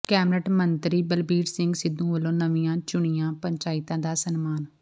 cabinet ਮੰਤਰੀ ਬਲਬੀਰ ਸਿੰਘ ਸਿੱਧੂ ਵੱਲੋਂ ਨਵੀਂ ਚੁਣੀਆਂ ਪੰਚਾਇਤਾਂ ਦਾ ਸਨਮਾਨ